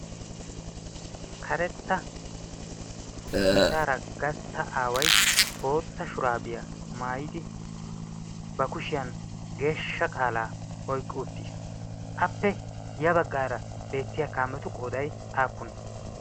Karetta sinttaara gastta aaway bootta shuraabiyaa maayidi ba kushiyan geeshsha qaalaa oyqqi uttiis. Appe ya baggaara beettiya kaametu qooday aappune?